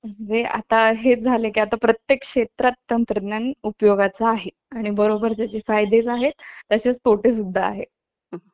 म्हणजे त्यांना मुद्दाम एखाद्या दुकानात पाठवणे किंवा एखाद्या कारखान्यात पाठवणे जेणेकरून आपल्या घरात उत्त्पन्न येईल. पण मग फक्त उत्पन्नाचा विचार आपण करतो पण,